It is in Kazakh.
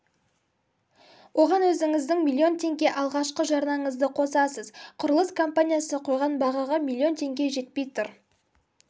оған өзіңіздің миллион теңге алғашқы жарнаңызды қосасыз құрылыс компаниясы қойған бағаға миллион теңге жетпей тұр